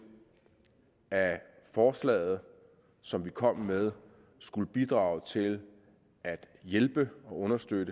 at forslaget som vi kom med skulle bidrage til at hjælpe og understøtte